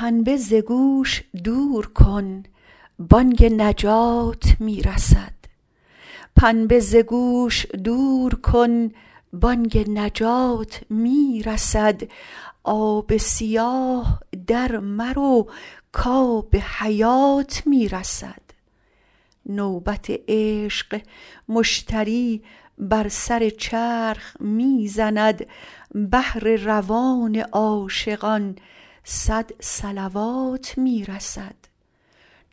پنبه ز گوش دور کن بانگ نجات می رسد آب سیاه درمرو کآب حیات می رسد نوبت عشق مشتری بر سر چرخ می زند بهر روان عاشقان صد صلوات می رسد